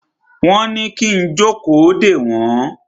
Wọ́n ní kí n jókòó dè wọ́n.